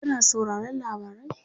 kana sauraron labarai?